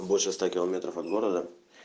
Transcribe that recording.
больше ста километров от города